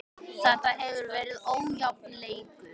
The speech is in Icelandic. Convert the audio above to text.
Þetta hefur verið ójafn leikur.